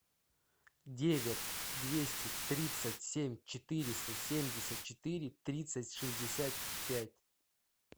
девять двести тридцать семь четыреста семьдесят четыре тридцать шестьдесят пять